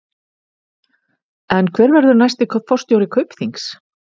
En hver verður næsti forstjóri Kaupþings?